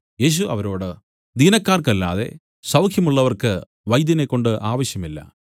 യേശു അവരോട് ദീനക്കാർക്കല്ലാതെ സൌഖ്യമുള്ളവർക്ക് വൈദ്യനെക്കൊണ്ട് ആവശ്യമില്ല